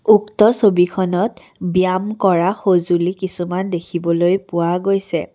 উক্ত ছবিখনত ব্যয়াম কৰা সজুঁলি কিছুমান দেখিবলৈ পোৱা গৈছে।